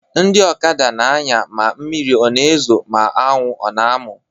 Ndị ọkada na-anya ma mmiri a na-ezo, ma anwụ ọ na-amụ.